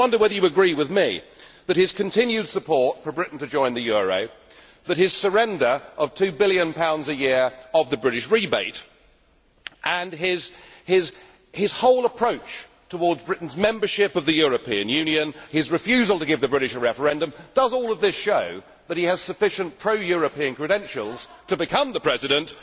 I just wondered whether you agree with me that his continued support for Britain to join the euro, his surrender of GBP 2 billion a year of the British rebate and his whole approach towards Britain's membership of the European Union his refusal to give the British a referendum all show that he has sufficient pro European credentials to become the President?